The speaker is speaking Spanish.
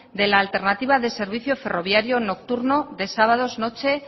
de la alternativa del servicio ferroviario nocturno de sábados noches